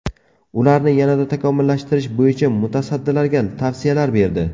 Ularni yanada takomillashtirish bo‘yicha mutasaddilarga tavsiyalar berdi.